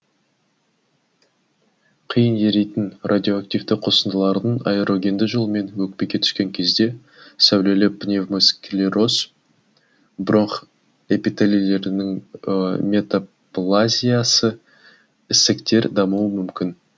қиын еритін радиоактивті қосындылардың аэрогенді жолмен өкпеге түскен кезде сәулелі пневмосклероз бронх эпителилерінің метаплазиясы ісіктер дамуы мүмкін